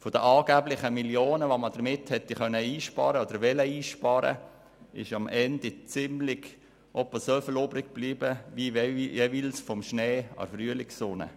Von den Millionen, die man damit angeblich hätte einsparen können oder wollen, ist am Ende so viel übrig geblieben wie jeweils vom Schnee in der Frühlingssonne.